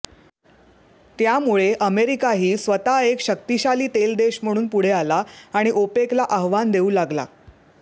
त्यामुळे अमेरिकाही स्वतः एक शक्तिशाली तेल देश म्हणून पुढे आला आणि ओपेकला आव्हान देऊ लागला